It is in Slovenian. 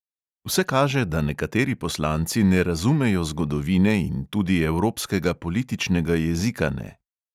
Vse kaže, da nekateri poslanci ne razumejo zgodovine in tudi evropskega političnega jezika ne.